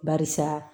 Barisa